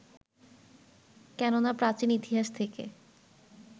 কেননা প্রাচীন ইতিহাস থেকে